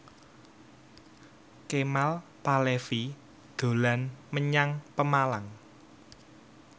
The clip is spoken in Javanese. Kemal Palevi dolan menyang Pemalang